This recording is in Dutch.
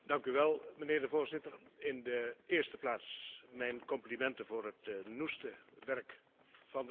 Voorzitter, in de eerste plaats mijn complimenten voor het noeste werk van de rapporteurs.